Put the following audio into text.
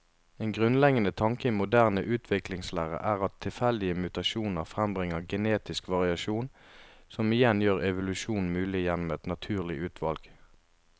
En grunnleggende tanke i moderne utviklingslære er at tilfeldige mutasjoner frembringer genetisk variasjon, som igjen gjør evolusjon mulig gjennom et naturlig utvalg.